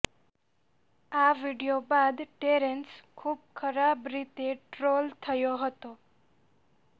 આ વીડિયો બાદ ટેરેંસ ખૂબ ખરાબ રીતે ટ્રોલ થયો હતો